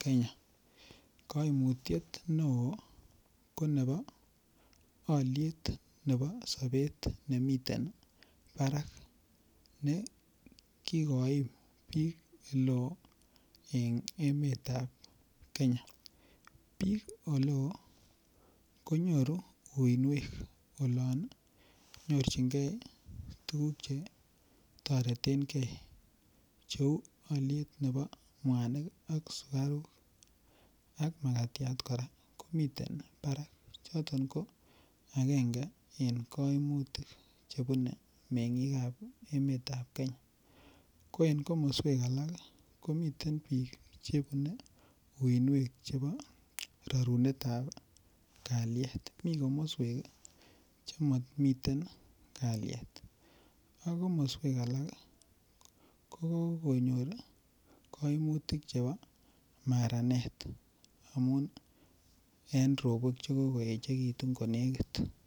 Kenya koimutiet neo ko nebo aliet nebo sobet nemiten Barak ne kikoim biik oleo eng emet ap Kenya biik oleo konyoru uinwek olon nyorchingei tukuk che toreten gei cheu oliet nebo mwanik ak sukarok ak makatiat kora komiten barak choton ko akenge eng koimutik chebune meng'ik ap emet ap Kenya ko en komoswek alak komiten biik chebune uinwek chebo rorunet ap kaliet mi komoswek chemamiten kaliet ak komoswek alak ko konyor kaimutik chebo imaranet amun en robok chekokoechekitun konekit